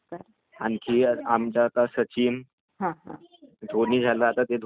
म्हणजे त्यांनी भारताला चांगले चांगले सामने जिंकवलेले आहेत.